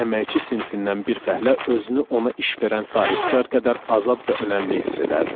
Əməkçi sinifindən bir fəhlə özünü ona iş verən sahibkar qədər azad və önəmli hiss edərdi.